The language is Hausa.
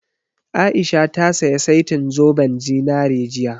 A'isha ta saya setin zoben zinari jiya